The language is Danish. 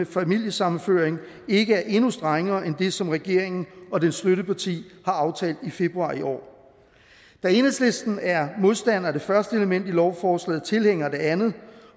familiesammenføring ikke er endnu strengere end det som regeringen og dens støtteparti har aftalt i februar i år da enhedslisten er modstander af det første element i lovforslaget og tilhænger af det andet